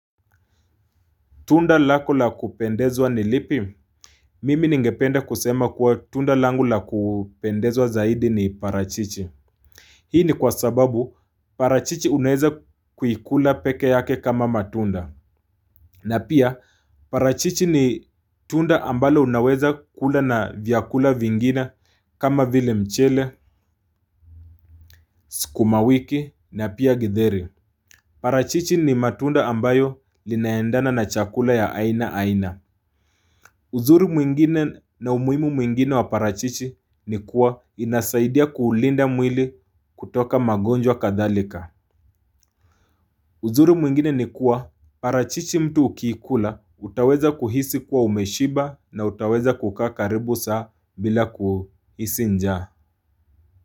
Tunda lako la kupendezwa ni lipi? Mimi ningependa kusema kuwa tunda langu la kupendezwa zaidi ni parachichi. Hii ni kwa sababu parachichi unaeza kuikula peke yake kama matunda. Na pia parachichi ni tunda ambalo unaweza kula na vyakula vingine kama vile mchele, sukumawiki na pia githeri. Parachichi ni matunda ambayo linaendana na chakula ya aina aina. Uzuri mwingine na umuhimu mwingine wa parachichi ni kuwa inasaidia kuulinda mwili kutoka magonjwa kadhalika. Uzuri mwingine ni kuwa parachichi mtu ukiikula utaweza kuhisi kuwa umeshiba na utaweza kukaa karibu saa bila kuhisi njaa.